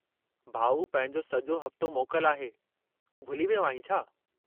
भाउ, पंहिंजो सॼो हफ़्तो मोकल आहे, तूं भुली वियो आहीं छा?